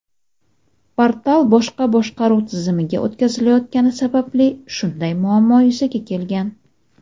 Portal boshqa boshqaruv tizimiga o‘tkazilayotgani sababli shunday muammo yuzaga kelgan.